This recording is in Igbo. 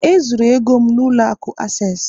E zuru ego m n'ụlọ akụ Access